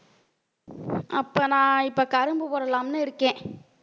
அப்ப நான் இப்ப கரும்பு போடலாம்னு இருக்கேன்.